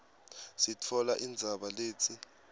sitfola indzaba letsi